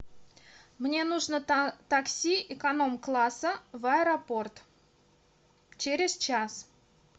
мне нужно такси эконом класса в аэропорт через час